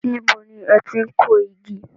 Níbo ni ẹ ti n kó igi?